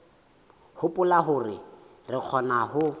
hopola hore re kgona ho